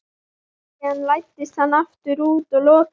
Síðan læddist hann aftur út og lokaði.